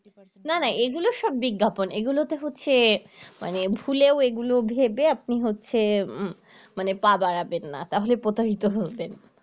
না না এগুলা সব বিজ্ঞাপন এগুলা তে হচ্ছে মানে ভুলেও এগুলো ভেবে আপনি হচ্ছে মানে পা বাড়াবেন না তাহলে প্রতারিত হবেন